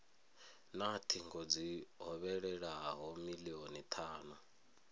na thingo dzi hovhelelaho milioni thanu